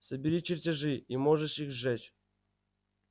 собери чертежи и можешь их сжечь